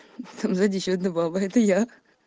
с зайди ещё одна баба это я